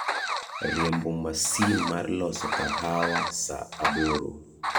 riembo masin mar loso kahawa saa aboro